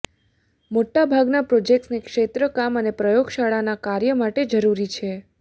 મોટાભાગના પ્રોજેક્ટ્સને ક્ષેત્ર કામ અને પ્રયોગશાળાના કાર્ય માટે જરૂરી છે